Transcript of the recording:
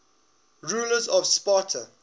rulers of sparta